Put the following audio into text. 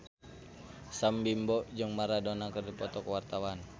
Sam Bimbo jeung Maradona keur dipoto ku wartawan